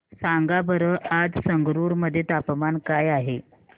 सांगा बरं आज संगरुर मध्ये तापमान काय आहे